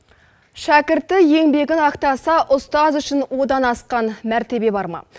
шәкірті еңбегін ақтаса ұстаз үшін одан асқан мәртебе бар ма